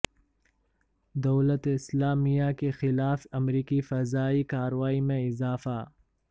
دولت اسلامیہ کے خلاف امریکی فضائی کارروائی میں اضافہ